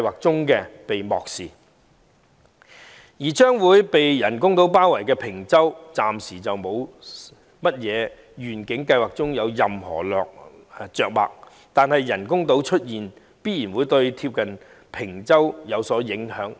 至於將被人工島包圍的坪洲，在願景計劃中則暫時未有任何着墨，但人工島的出現必然會對鄰近的坪洲有所影響。